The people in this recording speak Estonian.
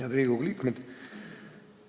Head Riigikogu liikmed!